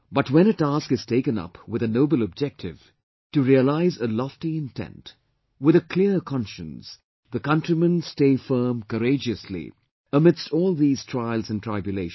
But when a task is taken up with a noble objective, to realise a lofty intent, with a clear conscience, the countrymen stay firm courageously amidst all these trials and tribulations